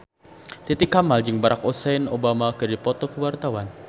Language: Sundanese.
Titi Kamal jeung Barack Hussein Obama keur dipoto ku wartawan